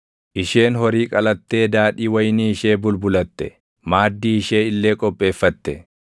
Isheen horii qalattee daadhii wayinii ishee bulbulatte; maaddii ishee illee qopheeffatte.